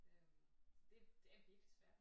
Øh det er det er virkelig svært